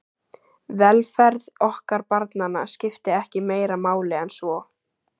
Velferð okkar barnanna skipti ekki meira máli en svo.